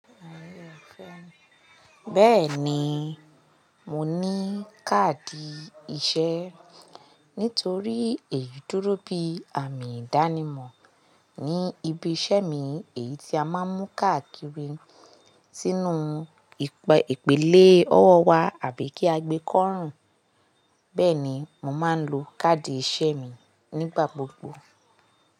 Bẹ́ẹ̀ni, mo ní káàdì ìṣẹ́. Nítorí èyí dúró bí àmì ìdánimọ̀ ní ibi iṣẹ́ mi, èyí tí a máa ń mú káàkiri sínú ìpele ọwọ́ wa àbí kí a gbé kọ́rùn. Bẹ́ẹ̀ni, mo máa ń lo káàdì iṣẹ́ mi nígbà gbogbo.